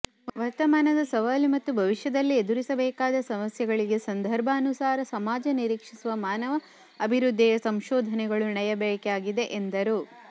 ವರ್ತಮಾನದ ಸವಾಲು ಮತ್ತು ಭವಿಷ್ಯದಲ್ಲಿ ಎದುರಿಸಬೇಕಾದ ಸಮಸ್ಯೆಗಳಿಗೆ ಸಂದರ್ಭಾನುಸಾರ ಸಮಾಜ ನಿರೀಕ್ಷಿಸುವ ಮಾನವ ಅಭಿವೃದ್ಧಿಯ ಸಂಶೋಧನೆಗಳು ನಡೆಯಬೇಕಿದೆ ಎಂದರು